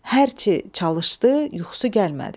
Hərçi çalışdı, yuxusu gəlmədi.